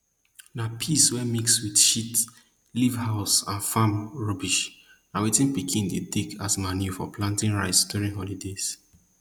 na piss wey mix wit shit leaf house and farm rubbish na wetin pikin dey dey take as manure for planting rice during holidays